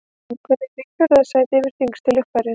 Lungun eru í fjórða sæti yfir þyngstu líffærin.